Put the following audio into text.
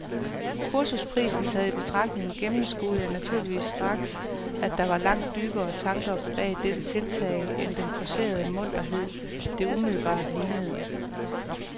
Kursusprisen taget i betragtning gennemskuede jeg naturligvis straks, at der var langt dybere tanker bag dette tiltag end den forcerede munterhed, det umiddelbart lignede.